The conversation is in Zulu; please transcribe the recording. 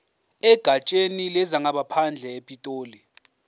egatsheni lezangaphandle epitoli